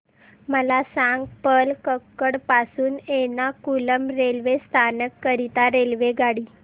मला सांग पलक्कड पासून एर्नाकुलम रेल्वे स्थानक करीता रेल्वेगाडी